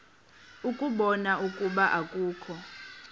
ukubona ukuba akukho